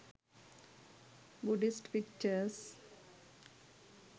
buddhist pictures